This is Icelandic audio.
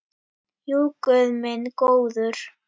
Jú, guð minn góður.